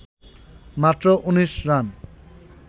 মাত্র ১৯ রান